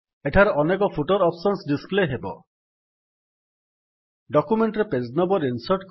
ଏଠାରେ ଅନେକ footer options display ହେବ